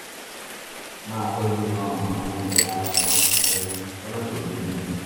máa tọ́jú um àwọn ẹ̀yà ara rẹ rẹ lọ́nà tó bójú mu